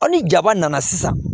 Ɔ ni jaba nana sisan